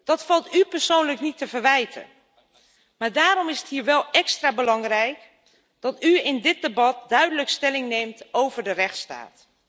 Dat valt u persoonlijk niet te verwijten, maar daarom is het hier wel extra belangrijk dat u in dit debat duidelijk stelling neemt over de rechtsstaat.